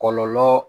Kɔlɔlɔ